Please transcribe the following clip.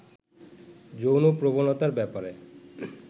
যৌন প্রবণতার ব্যাপারে